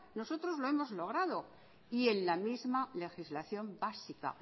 nosotros lo hemos logrado y en la misma legislación básica